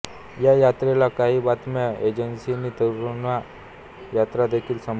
या यात्रेला काही बातम्या एजन्सींनी तिरुंगा यात्रा देखील संबोधतात